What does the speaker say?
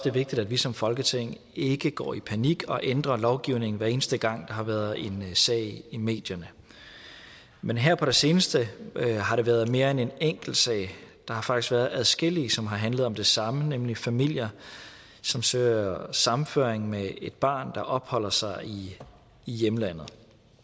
er vigtigt at vi som folketing ikke går i panik og ændrer lovgivningen hver eneste gang har været en sag i medierne men her på det seneste har der været mere end en enkelt sag der har faktisk været adskillige som har handlet om det samme nemlig om familier som søger sammenføring med et barn der opholder sig i hjemlandet